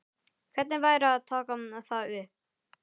Hvernig væri að taka það upp?